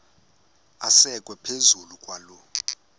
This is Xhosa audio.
asekwe phezu kwaloo